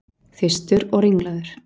Þyrstur og ringlaður.